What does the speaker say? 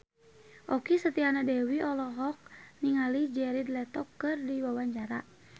Okky Setiana Dewi olohok ningali Jared Leto keur diwawancara